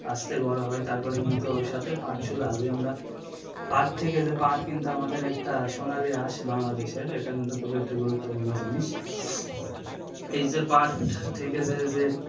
আসতে বড়ো হয় তারপরে কিন্তু ওর সাথে পাটসুলা যে আমরা পাট থেকে যে পাট কিন্তু আমাদের একটা সোনালী আঁশ বাংলাদেশের, এটা কিন্তু খুবই একটি গুরুত্বপূর্ণ জিনিস এই যে পাট থেকে যে যে,